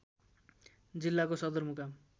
जिल्लाको सदरमुकाम